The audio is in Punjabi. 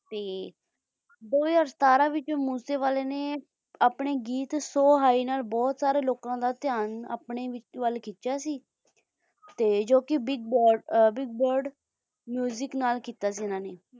ਤੇ ਦੋ ਹਜ਼ਾਰ ਸਤਾਰਾਂ ਵਿੱਚ ਮੂਸੇਵਾਲੇ ਨੇ ਆਪਣੇ ਗੀਤ ਸੋ ਹਾਈ ਨਾਲ ਬਹੁਤ ਸਾਰੇ ਲੋਕਾਂ ਦਾ ਧਿਆਨ ਆਪਣੇ ਵੱਲ ਖਿਚਿਆ ਸੀ ਜੋ ਕਿ ਬਿਗ ਬਰਡ ਬਿਗ ਬਰਡ ਨਾਲ ਕਿੱਤਾ ਸੀ ਇਨ੍ਹਾਂ ਨੇ